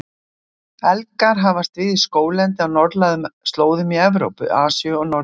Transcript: Elgir hafast við í skóglendi á norðlægum slóðum í Evrópu, Asíu og Norður-Ameríku.